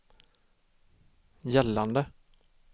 gällande